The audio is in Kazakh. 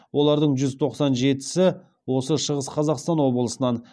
олардың жүз тоқсан жетісі осы шығыс қазақстан облысынан